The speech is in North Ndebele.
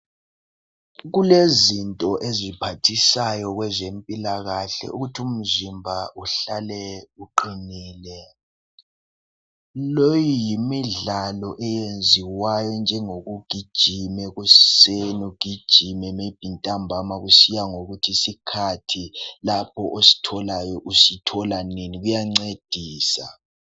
kulezinto eziphathisayo kwezempilakahle ukuthi umzimba uhlale uqinile leyi yimidlalo eyenziwayo enjengokugijima ekuseni ugijime maybe ntambama kusiyangokuthi isikhathi ositholayo lapho usithola nini kuyancedisa